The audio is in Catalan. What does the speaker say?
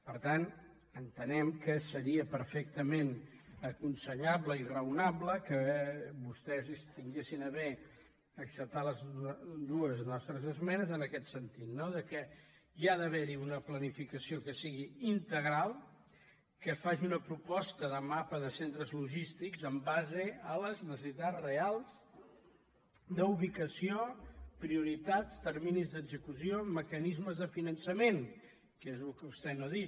per tant entenem que seria perfectament aconsellable i raonable que vostès tinguessin a bé acceptar les dues nostres esmenes en aquest sentit no que hi ha d’haver una planificació que sigui integral que faci una proposta de mapa de centres logístics en base a les necessitats reals d’ubicació prioritat terminis d’execució mecanismes de finançament que és el que vostè no ha dit